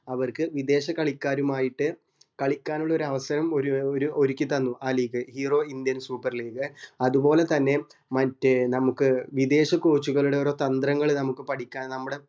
അവർക്ക് വിദേശ കളിക്കാരുമായിട്ട് കളിക്കാൻ ഇള്ള അവസരം ഒരു ഒര് ഒരുക്കി തന്നു ആ league hero indian super league അതുപോലെ തന്നെ മറ്റ് നമുക് വിദേശ coach ഉകൾടെ ഓരോ തന്ത്രങ്ങൾ പഠിക്കാൻ നമ്മടെ